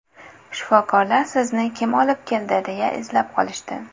Shifokorlar sizni kim olib keldi, deya izlab qolishdi.